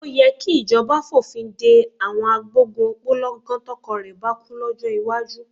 Ó yẹ kíjọba fòfin de àwọn agbógun òpó lọ́gán tọkọ rẹ bá kú, lọ́jọ́ iwájú.